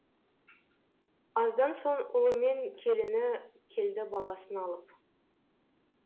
аздан соң ұлы мен келіні келді баласын алып